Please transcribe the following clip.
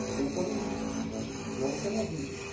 Você tem que correr riscos, senão você não vive.